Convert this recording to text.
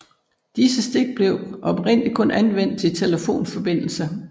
Disse stik blev oprindelig kun anvendt til telefonforbindelser